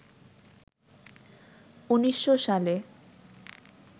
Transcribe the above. ১৯০০ সালে